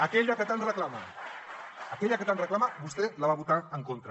aquella que tant reclama aquella que tant reclama vostè la va votar en contra